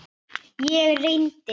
Og efast enn.